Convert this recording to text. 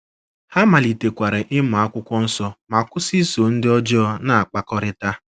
Ha malitekwara ịmụ akwụkwọ nsọ ma kwụsị iso ndị ọjọọ na - akpakọrịta. ”